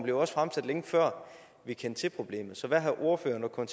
jo også fremsat længe før vi kendte til problemet så hvad har ordføreren og